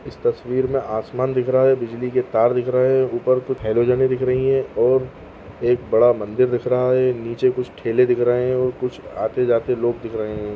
इस तस्वीर में आसमान दिख रहा है बिजली के तार दिख रहे हैं ऊपर कुछ हॅलोजने दिख रही हैं और एक बड़ा मंदिर दिख रहा है नीचे कुछ ठेले दिख रहे हैं और कुछ आते-जाते लोग दिख रहे हैं।